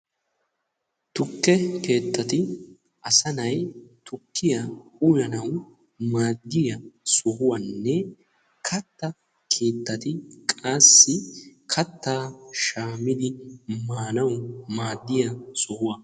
tukke keetati assanay tukiyanne kaatta shamidi maanaw maadiya sohuwaa.